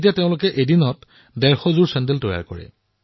এতিয়া এওঁলোকে দিনটোত ডেৰশ যোৰ চেণ্ডেল প্ৰস্তুত কৰে